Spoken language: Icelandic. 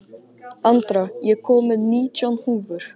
Andra, ég kom með nítján húfur!